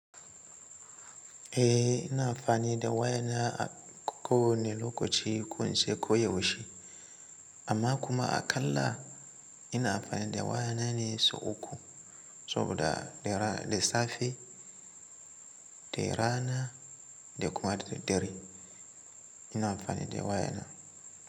Eh ina amfani da waya na a ko wane lokaci ko na ce ko yaushe. Amma kuma aƙalla ina amfani da waya na ne sau uku. Saboda da safe, da rana da kuma da daddare ina amfani da waya na.